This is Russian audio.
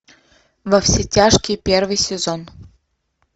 во все тяжкие первый сезон